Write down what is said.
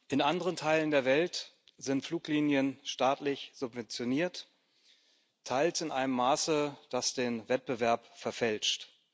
In anderen Teilen der Welt sind Fluglinien staatlich subventioniert, teils in einem Maße, das den Wettbewerb verfälscht.